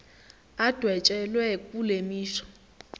adwetshelwe kule misho